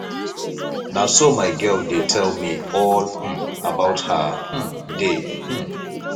na so my girl dey tell me all um about her um day um